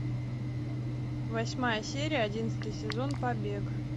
восьмая серия одиннадцатый сезон побег